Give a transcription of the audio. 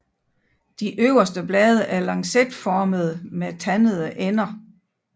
De øverste blade er lancetformede med tandede ender